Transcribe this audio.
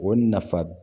O nafa